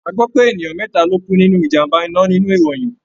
A gbọ́ pé ènìyàn mẹ́ta ló kú nínú ìjàm̀bá iná nínú ìròyìn.